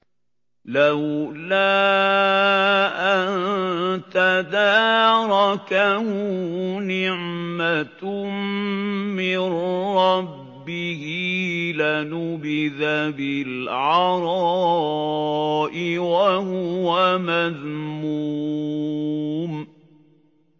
لَّوْلَا أَن تَدَارَكَهُ نِعْمَةٌ مِّن رَّبِّهِ لَنُبِذَ بِالْعَرَاءِ وَهُوَ مَذْمُومٌ